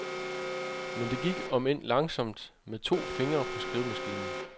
Men det gik, omend langsomt med to fingre på skrivemaskinen.